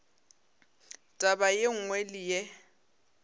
taba ye nngwe le ye